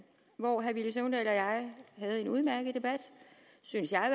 hvor herre villy søvndal og jeg havde en udmærket debat synes jeg